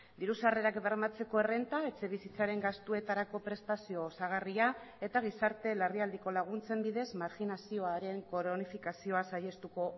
diru sarrerak bermatzeko errenta etxebizitzaren gastuetarako prestazio osagarria eta gizarte larrialdiko laguntzen bidez marginazioaren kronifikazioa saihestuko